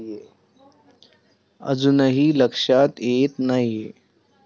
अजूनही लक्षात येत नाहीये?